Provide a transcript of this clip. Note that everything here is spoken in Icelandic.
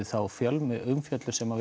þá fjölmiðlaumfjöllun sem